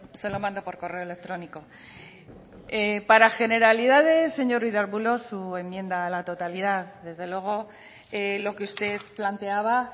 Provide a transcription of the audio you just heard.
se lo mando por correo electrónico para generalidades señor ruiz de arbulo su enmienda a la totalidad desde luego lo que usted planteaba